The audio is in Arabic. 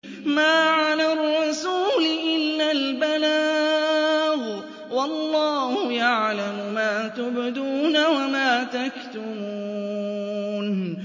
مَّا عَلَى الرَّسُولِ إِلَّا الْبَلَاغُ ۗ وَاللَّهُ يَعْلَمُ مَا تُبْدُونَ وَمَا تَكْتُمُونَ